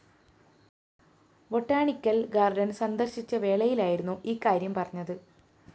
botanical garden സന്ദര്‍ശിച്ച വേളയിലായിരുന്നു ഈകാര്യം പറഞ്ഞത്